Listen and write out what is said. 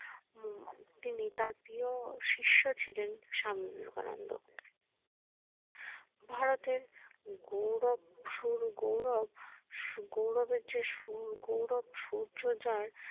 উম তিনি তার প্রিয় শীর্ষ ছিলেন স্বামী বিবেকানন্দ ভারতের গৌরব সুর গৌরব গৌরব এর যে সুর গৌরব সূর্য যার